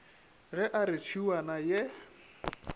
ge a re tšhiwana ye